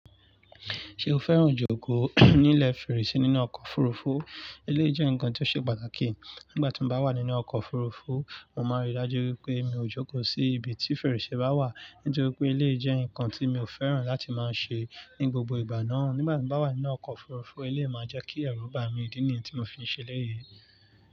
Ṣé o fẹ́ràn ìjókòó nílẹ̀ fèrèsé nínú ọkọ̀ òfurufú? Eléyi jẹ́ nkan tí ó ṣe pàtàkì. Nígbà tí mo bá wà nínú ọkọ̀ òfurufú, mo máa n rí i dájú wípé mi ò jókòó sí ibi tí fèrèsé bá wà. Nítorí pé eléyi jẹ́ nǹkan tí mi ò fẹ́ràn láti máa ṣe ní gbogbo ìgbà náà. Nígbà tí mo bá wà nínú ọkọ̀ òfurufú, eléyi máa jẹ́ kí ẹrù bá mi idí nìyí tí mo fi ń ṣe lẹ́yìn.